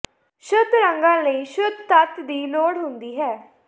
ਸ਼ੁੱਧ ਰੰਗਾਂ ਲਈ ਸ਼ੁੱਧ ਤੱਤ ਦੀ ਲੋੜ ਹੁੰਦੀ ਹੈ